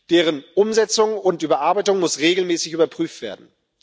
Deren Umsetzung und Überarbeitung muss regelmäßig überprüft werden.